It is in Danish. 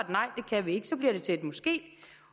får vi et så bliver det til et måske